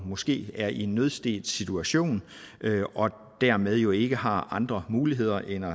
måske er i en nødsituation og dermed jo ikke har andre muligheder end at